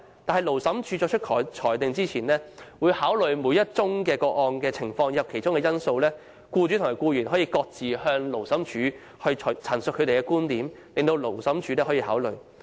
但是，勞審處在作出裁定前，會考慮每宗個案的情況和因素，僱主和僱員可各自向勞審處陳述其觀點，讓勞審處考慮。